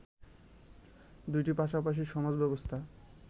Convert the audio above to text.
দুটি পাশাপাশি সমাজব্যবস্থা